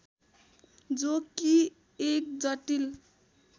जो कि एक जटिल